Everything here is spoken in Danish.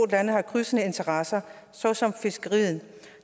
lande har krydsende interesser såsom fiskeriet